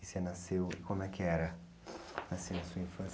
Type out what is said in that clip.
E você nasceu, como é que era nascer na sua infância?